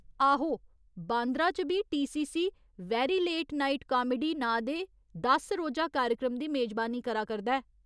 आहो, बांद्रा च B TCC, 'very late night comedy नांऽ दे दस रोजा कार्यक्रम दी मेजबानी करा करदा ऐ।